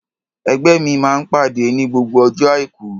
Ẹgbẹ́ mi máa ń pàdé ní gbogbo ọjọ́ Àìkú.